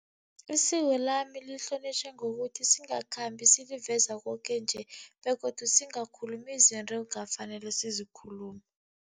Isiko lami lihlonitjhwa ngokuthi singakhambi siliveza koke nje begodu singakhulumi izinto ekungakafaneli sizikhulume.